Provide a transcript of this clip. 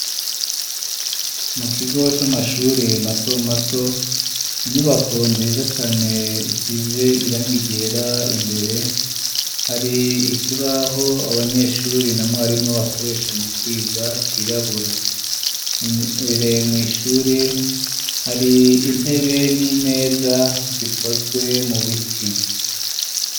Mu kigo c'amashuri mato mato inyubako nziza cane isize irangi ryera imbere hari ikibaho abanyeshuri na mwarimu bakoresha mu kwiga cirabura Imbere mw ishuri hari intebe n'imeza zikozwe mu biti.